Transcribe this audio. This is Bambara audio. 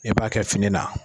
E b'a kɛ fini na.